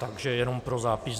Takže jenom pro zápis.